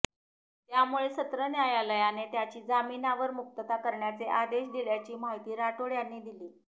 त्यामुळे सत्र न्यायालयाने त्याची जामिनावर मुक्तता करण्याचे आदेश दिल्याची माहिती राठोड यांनी दिली